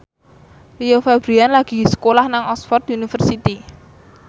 Rio Febrian lagi sekolah nang Oxford university